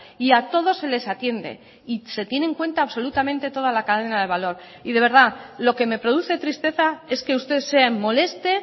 y a todos se les atiende y se tiene en cuenta absolutamente toda la cadena de valor y de verdad lo que me produce tristeza es que usted se moleste